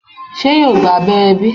se yo gba abẹrẹ bi?